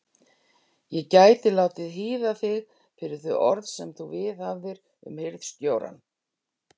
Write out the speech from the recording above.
Ég gæti látið hýða þig fyrir þau orð sem þú viðhafðir um hirðstjórann.